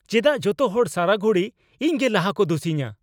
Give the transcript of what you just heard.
ᱪᱮᱫᱟᱜ ᱡᱚᱛᱚ ᱦᱚᱲ ᱥᱟᱨᱟ ᱜᱷᱩᱲᱤ ᱤᱧ ᱜᱮ ᱞᱟᱦᱟ ᱠᱚ ᱫᱩᱥᱤᱭᱤᱧᱟ ?